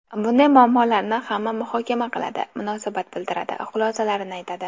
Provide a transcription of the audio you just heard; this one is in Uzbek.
Bunday muammolarni hamma muhokama qiladi, munosabat bildiradi, xulosalarini aytadi.